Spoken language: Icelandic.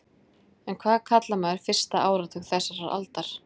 En hvað kallar maður fyrsta áratug þessarar aldar?